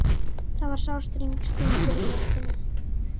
Það var sár stingur í brjóstinu.